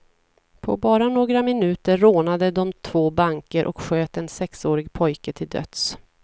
På bara några minuter rånade de två banker och sköt en sexårig pojke till döds.